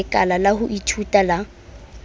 lekala la ho ithuta la